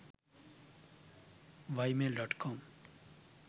ymail.com